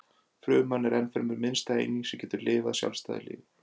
Fruman er ennfremur minnsta eining sem getur lifað sjálfstæðu lífi.